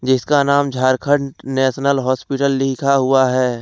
जिसका नाम Jharkhand national hospital लिखा हुआ है।